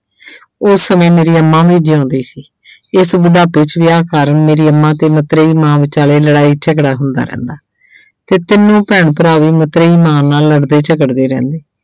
ਉਸ ਸਮੇਂ ਮੇਰੀ ਅੰਮਾ ਵੀ ਜਿਉਂਦੀ ਸੀ ਇਸ ਬੁਢਾਪੇ 'ਚ ਵਿਆਹ ਕਾਰਨ ਮੇਰੇ ਅੰਮਾ ਤੇ ਮਤਰੇਈ ਮਾਂ ਵਿਚਾਲੇ ਲੜਾਈ ਝਗੜਾ ਹੁੰਦਾ ਰਹਿੰਦਾ ਤੇ ਤਿੰਨੋ ਭੈਣ ਭਰਾ ਵੀ ਮਤਰੇਈ ਮਾਂ ਨਾਲ ਲੜਦੇ ਝਗੜਦੇ ਰਹਿੰਦੇ।